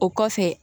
O kɔfɛ